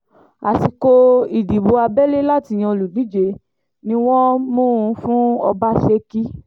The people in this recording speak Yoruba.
àsìkò ìdìbò abẹ́lé láti yan olùdíje ni wọ́n mú un fún ọbaṣẹ́kí